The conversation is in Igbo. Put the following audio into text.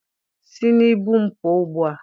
Si n' ibu m pụọ ugbua!